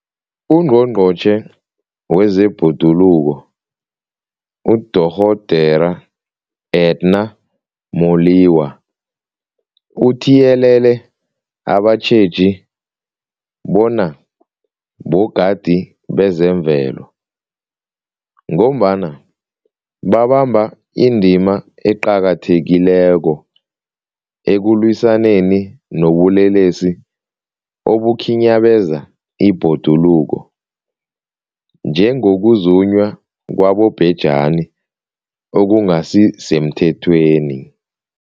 UNgqongqotjhe wezeBhoduluko uDorh Edna Molewa uthiyelele abatjheji bona bogadi bezemvelo, ngombana babamba indima eqakathekileko ekulwisaneni nobulelesi obukhinyabeza ibhoduluko, njengokuzunywa kwabobhejani okungasisemthethweni.